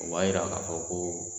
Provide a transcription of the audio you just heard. O b'a jira k'a fɔ ko